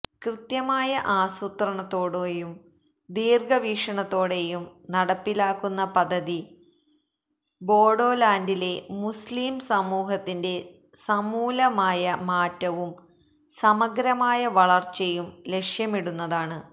കൃത്യമായ ആസൂത്രണത്തോടെയും ദീര്ഘവീക്ഷണത്തോടെയും നടപ്പിലാക്കുന്ന പദ്ധതി ബോഡോലാന്റിലെ മുസ്ലിം സമൂഹത്തിന്റെ സമൂലമായ മാറ്റവും സമഗ്രമായ വളര്ച്ചയും ലക്ഷ്യമിടുന്നതാണ്